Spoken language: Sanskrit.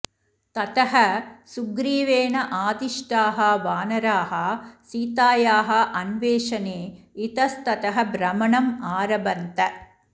ततः सुग्रीवेण आदिष्टाः वानराः सीतायाः अन्वेषणे इतस्ततः भ्रमणम् आरभन्त